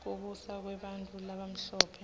kubusa kwebantfu labamhlope